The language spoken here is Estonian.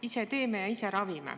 Ise teeme ja ise ravime.